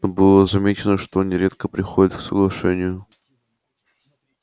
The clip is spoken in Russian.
но было замечено что они редко приходят к соглашению